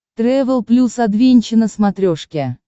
трэвел плюс адвенча на смотрешке